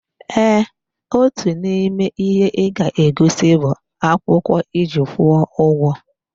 Eeh, Otu n'ime ihe ịga-egosi bụ akwụkwọ iji kwụọ ugwo